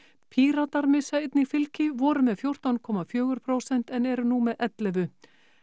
Píratar missa einnig fylgi voru með fjórtán komma fjögur prósent en eru nú með ellefu